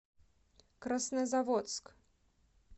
краснозаводск